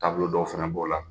Taabolo dɔw fana b'o la.